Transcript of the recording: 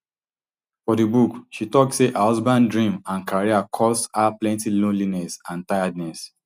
for di book she tok say her husband dream and career cause her plenty loneliness and tiredness